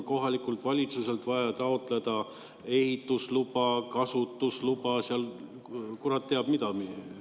Kohalikult valitsuselt on vaja taotleda ehitusluba, kasutusluba, kurat teab mida.